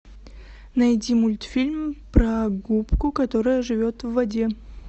найди мультфильм про губку которая живет в воде